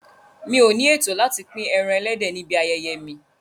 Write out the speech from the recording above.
Mi ò ní ètò láti pín ẹran ẹlẹ́dẹ̀ níbi ayẹyẹ mi.